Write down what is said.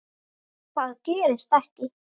Það gerist ekki,